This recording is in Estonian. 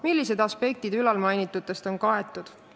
Millised aspektid ülalmainitutest on kaetud?